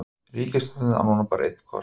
Ríkisstjórnin á núna bara einn kost